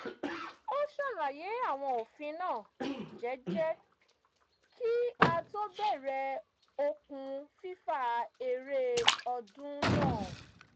ó ṣàlàyé àwọn òfin náà jẹ́jẹ́ kí á tó bẹ̀rẹ̀ okùn fífà eré ọdún náà